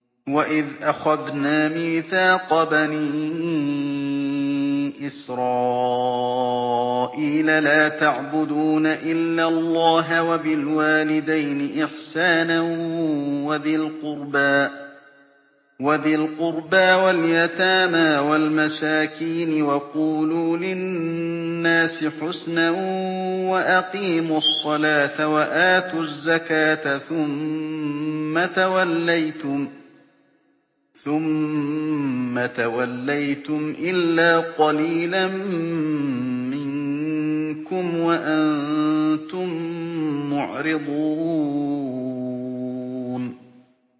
وَإِذْ أَخَذْنَا مِيثَاقَ بَنِي إِسْرَائِيلَ لَا تَعْبُدُونَ إِلَّا اللَّهَ وَبِالْوَالِدَيْنِ إِحْسَانًا وَذِي الْقُرْبَىٰ وَالْيَتَامَىٰ وَالْمَسَاكِينِ وَقُولُوا لِلنَّاسِ حُسْنًا وَأَقِيمُوا الصَّلَاةَ وَآتُوا الزَّكَاةَ ثُمَّ تَوَلَّيْتُمْ إِلَّا قَلِيلًا مِّنكُمْ وَأَنتُم مُّعْرِضُونَ